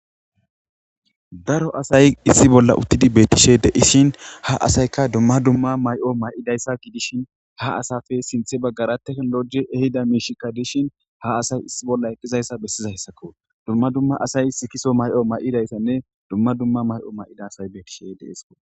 Daro asay issi bolla uttidi betishe deishin ha asayka dumma dumma may7o may7idayssa gidishin ha asafe sinthe baggara teknologi ehida miishikka dishin ha asay issi bolla eqqizayssa bessizayssakko dumma dumma asay sikiso may7o may7idayssanne dumma dumma may7o may7ida say betishe deesko